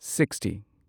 sixty